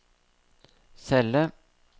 celle